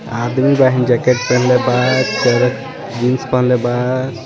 आदमी जहां जैकेट पहनले बा चरक जींस पहनले बा.